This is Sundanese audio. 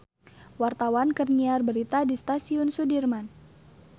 Wartawan keur nyiar berita di Stasiun Sudirman